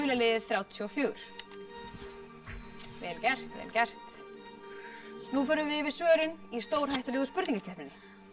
liðið þrjátíu og fjögur vel gert nú förum við yfir svörin í stórhættulegu spurningakeppninni